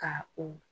Ka o